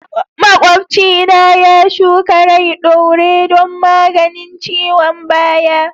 Makwabci na shuka rai ɗaure don maganin ciwon baya.